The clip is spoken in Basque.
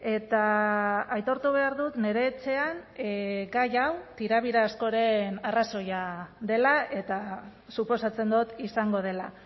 eta aitortu behar dut nire etxean gai hau tirabira askoren arrazoia dela eta suposatzen dut izango dela